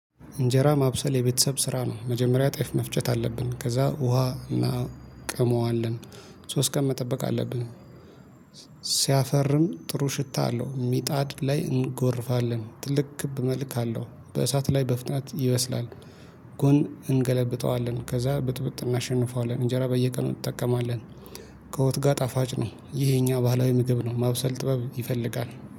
እንጀራ ማብሰል የቤተሰብ ስራ ነው መጀመሪያ ጤፍ መፍጨት አለብን ከዛ ውሃ እናቀመዋለን ሶስት ቀን መጠበቅ አለብን። ሲያፈርም ጥሩ ሽታ አለው ምጣድ ላይ እንጎርፋለን ትልቅ ክብ መልክ አለው በእሳት ላይ በፍጣት ይበስላል። ጎን እንገለብጠዋለን ከዛ ብጥብጥ እናሸንፈዋለን እንጀራ በየቀኑ እንጠቀማለን። ከወጥ ጋር ጣፋጭ ነው። ይሄ የኛ ባህላዊ ምግብ ነው ማብሰል ጥበብ ይፈልጋል